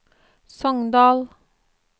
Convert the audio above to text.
Sogndal